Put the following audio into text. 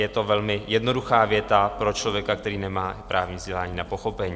Je to velmi jednoduchá věta pro člověka, který nemá právní vzdělání a pochopení.